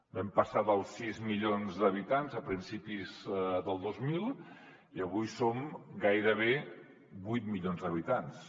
vam passar dels sis milions d’habitants a principis del dos mil i avui som gairebé vuit milions d’habitants